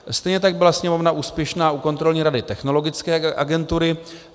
Stejně tak byla Sněmovna úspěšná u Kontrolní rady Technologické agentury.